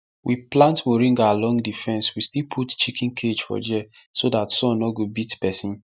we plant moringa along the fence we still put chiken cage for there so that sun nor go beat person